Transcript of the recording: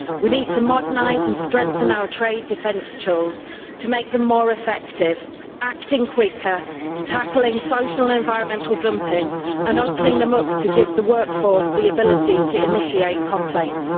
We need to modernise and strengthen our trade defence tools to make them more effective acting quicker, tackling social and environmental dumping, and opening them up to give the workforce the ability to initiate complaints.